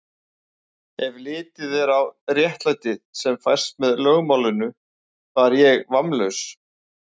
Ef litið er á réttlætið, sem fæst með lögmálinu, var ég vammlaus.